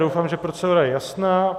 Doufám, že procedura je jasná.